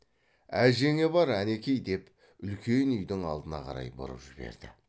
әжеңе бар әнеки деп үлкен үйдің алдына қарай бұрып жіберді